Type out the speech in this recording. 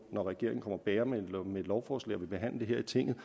når regeringen kommer bærende med et lovforslag og vil behandle det her i tinget at